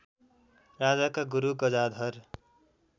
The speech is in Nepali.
राजाका गुरु गजाधर